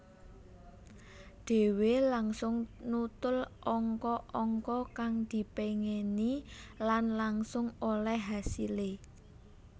Dhéwé langsung nutul angka angka kang dipéngini lan langsung olèh hasilé